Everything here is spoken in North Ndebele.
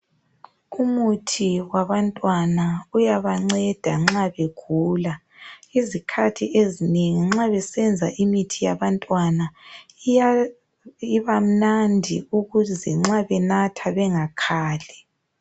Umuthi wabantwana uyabanceda nxa begula, izikhathi ezinengi nxa besenza imithi yabantwana iba mnandi ukuze nxa benatha bengakhali.